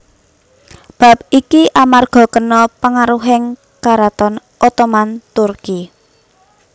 Bab iki amarga kena pangaruhing Karaton Ottoman Turki